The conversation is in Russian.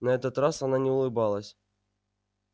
на этот раз она не улыбалась